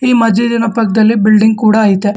ಈ ಮಜ್ಜಿದಿ ನಾ ಪಕ್ಕದಲ್ಲಿ ಬಿಲ್ಡಿಂಗ್ ಕೂಡ ಇದೆ.